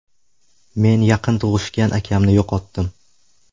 Men yaqin tug‘ishgan akamni yo‘qotdim.